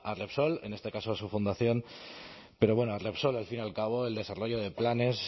repsol en este caso a su fundación pero bueno a repsol al fin y al cabo el desarrollo de planes